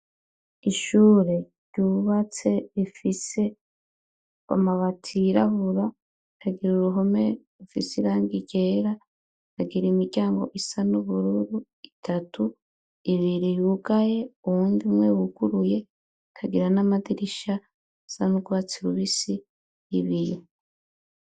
Ishure ryubatse rifise mabati yirabura, rikagira uruhome rufise irangi ryera, rikagira imiryango isa n'ubururu itatu: ibiri yugaye, uwundi umwe wuguruye. Ikagira n'amadirisha asa n'urwatsi rubisi n'ibiyo.